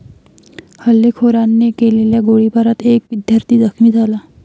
हल्लेखोरांने केलेल्या गोळीबारात एक विद्यार्थी जखमी झाला.